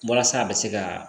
Walasa a bɛ se ka